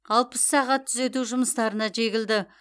алпыс сағат түзету жұмыстарына жегілді